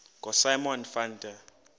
ngosimon van der